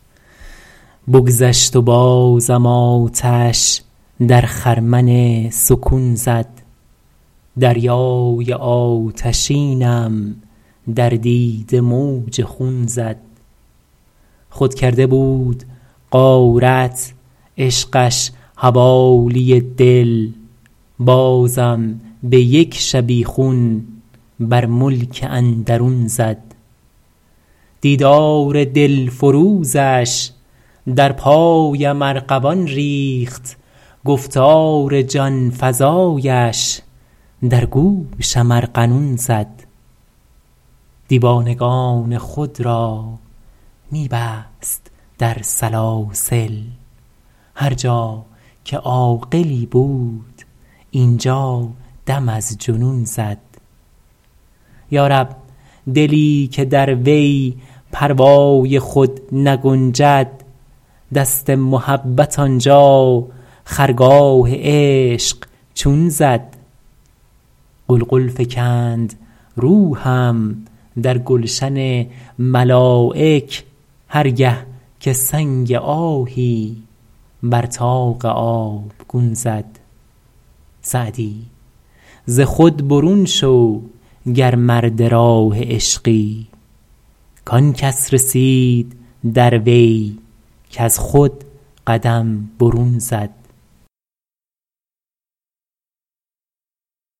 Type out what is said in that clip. بگذشت و بازم آتش در خرمن سکون زد دریای آتشینم در دیده موج خون زد خود کرده بود غارت عشقش حوالی دل بازم به یک شبیخون بر ملک اندرون زد دیدار دلفروزش در پایم ارغوان ریخت گفتار جان فزایش در گوشم ارغنون زد دیوانگان خود را می بست در سلاسل هر جا که عاقلی بود اینجا دم از جنون زد یا رب دلی که در وی پروای خود نگنجد دست محبت آنجا خرگاه عشق چون زد غلغل فکند روحم در گلشن ملایک هر گه که سنگ آهی بر طاق آبگون زد سعدی ز خود برون شو گر مرد راه عشقی کان کس رسید در وی کز خود قدم برون زد